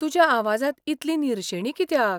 तुज्या आवाजांत इतली निरशेणी कित्याक ?